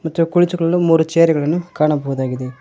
ಆಚೆ ಕುಳಿತುಕೊಳ್ಳಲು ಮೂರು ಚೇರು ಗಳನ್ನು ಕಾಣಬಹುದಾಗಿದೆ.